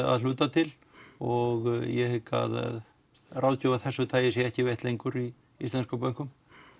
að hluta til og ég hygg að ráðgjöf af þessu tagi sé ekki veitt lengur í íslenskum bönkum